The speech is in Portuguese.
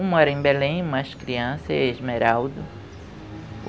Um mora em Belém, mais criança, em Esmeraldo.